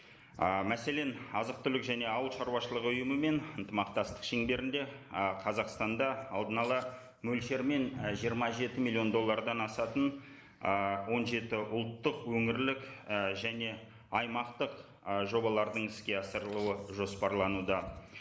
ы мәселен азық түлік және ауыл шаруашылығы ұйымымен ынтымақтастық шеңберінде ы қазақстанда алдын ала мөлшермен ы жиырма жеті миллион доллардан асатын ыыы он жеті ұлттық өңірлік ііі және аймақтық ы жобалардың іске асырылуы жоспарлануда